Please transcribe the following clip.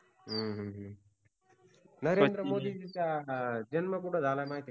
हम्म हूम नरेंद्र मोदींचा जन्म कुठ झाला माहितीय का तुला